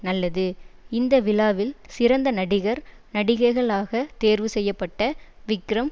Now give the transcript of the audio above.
நல்லது இந்த விழாவில் சிறந்த நடிகர் நடிகைகளாக தேர்வு செய்ய பட்ட விக்ரம்